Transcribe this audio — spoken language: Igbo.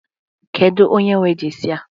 Kedu onye nwe jesi a?